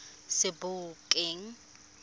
sebokeng